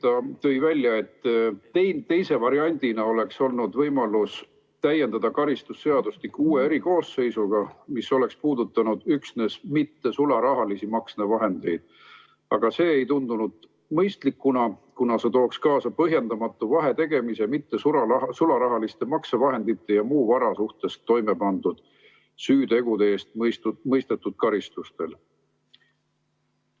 Ta tõi välja, et teise variandina oleks olnud võimalus täiendada karistusseadustikku uue erikoosseisuga, mis oleks puudutanud üksnes mittesularahalisi maksevahendeid, aga see ei tundunud mõistlik, kuna see tooks kaasa põhjendamatu vahetegemise mittesularahaliste maksevahendite ja muu vara suhtes toime pandud süütegude eest mõistetud karistustel.